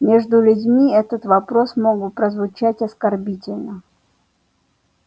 между людьми этот вопрос мог бы прозвучать оскорбительно